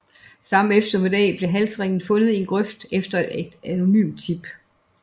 Samme eftermiddag blev halsringen fundet i en grøft efter et anonymt tip